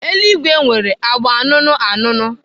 Eluigwe nwere agba anụnụ anụnụ.